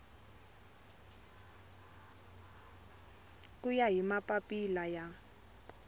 ku ya hi mapapila ya